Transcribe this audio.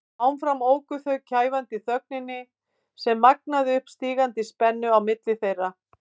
Áfram óku þau í kæfandi þögninni sem magnaði upp stígandi spennu á milli þeirra.